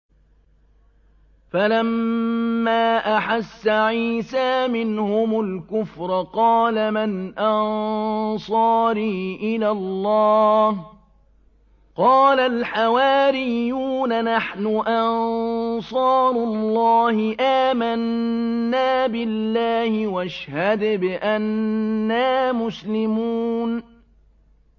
۞ فَلَمَّا أَحَسَّ عِيسَىٰ مِنْهُمُ الْكُفْرَ قَالَ مَنْ أَنصَارِي إِلَى اللَّهِ ۖ قَالَ الْحَوَارِيُّونَ نَحْنُ أَنصَارُ اللَّهِ آمَنَّا بِاللَّهِ وَاشْهَدْ بِأَنَّا مُسْلِمُونَ